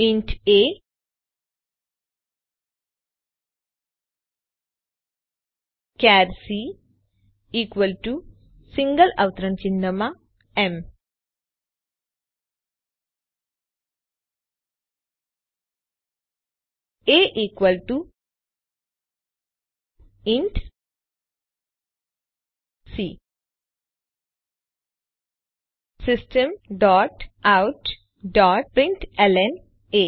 int a char c equal to single અવતરણ ચિહ્નમાં M a equal to c system dot out dot println A